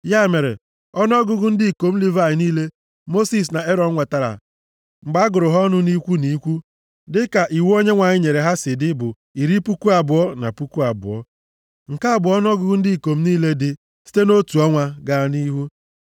Ya mere, ọnụọgụgụ ndị ikom Livayị niile Mosis na Erọn nwetara mgbe a gụrụ ha ọnụ nʼikwu nʼikwu dịka iwu Onyenwe anyị nyere ha si dị, bụ iri puku abụọ na puku abụọ (22,000). Nke a bụ ọnụọgụgụ ndị ikom niile dị site nʼotu ọnwa gaa nʼihu.